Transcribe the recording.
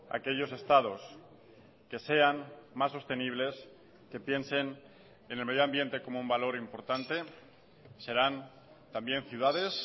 aquellos estados que sean más sostenibles que piensen en el medio ambiente como un valor importante serán también ciudades